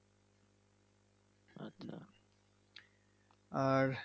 আর?